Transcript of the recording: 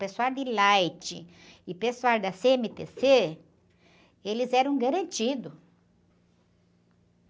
Pessoal de Light e pessoal da cê-eme-tê-cê, eles eram garantidos.